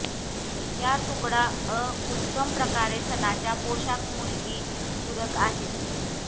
या तुकडा अ उत्तम प्रकारे सणाच्या पोशाख मुलगी पूरक आहेत